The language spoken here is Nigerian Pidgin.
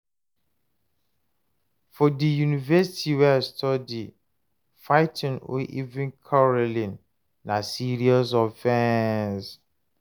for di university wey I study, fighting or even quarreling na serious offense